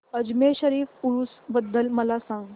अजमेर शरीफ उरूस बद्दल मला सांग